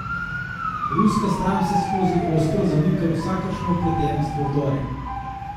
Ruska stran vseskozi ostro zanika vsakršno vpletenost v vdore.